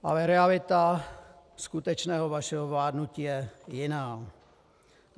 Ale realita skutečného vašeho vládnutí je jiná.